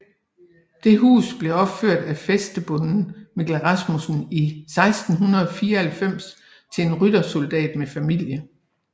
Det hus blev opført af fæstebonden Mikkel Rasmussen i 1694 til en ryttersoldat med familie